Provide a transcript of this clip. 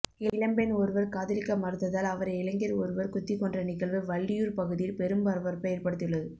இளம்பெண் ஒருவர் காதலிக்க மறுத்ததால் அவரை இளைஞர் ஒரவர் குத்திக்கொன்ற நிகழ்வு வள்ளியூர் பகுதியில் பெரும் பரபரப்பை ஏற்படுத்தியுள்ளது